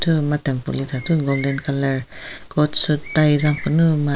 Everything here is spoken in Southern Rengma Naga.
thathu golden colour coat suit tie zapfunu ma--